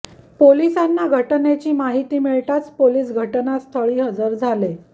पोलिसांना घटनेची माहिती मिळताच पोलीस घटनास्थळी हजर झाले